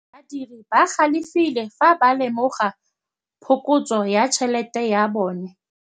Badiri ba galefile fa ba lemoga phokotsô ya tšhelête ya bone.